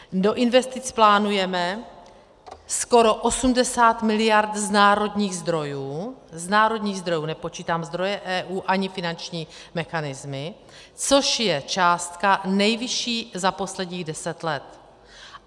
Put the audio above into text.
Do investic plánujeme skoro 80 miliard z národních zdrojů - z národních zdrojů, nepočítám zdroje EU ani finanční mechanismy - což je částka nejvyšší za posledních deset let.